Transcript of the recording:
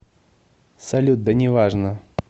салют да неважно